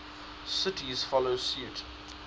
cities follow suit